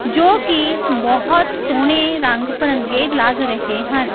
ਜੋ ਕਿ ਬਹੁਤ ਸੋਹਣੇ ਰੰਗ-ਭਰੰਗੇ ਲੱਗ ਰਹੇ ਹਨ।